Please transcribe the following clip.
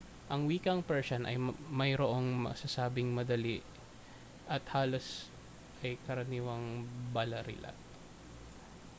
ang wikang persian ay mayroong masasabing madali at halos lahat ay karaniwang balarila